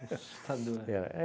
É assustador. É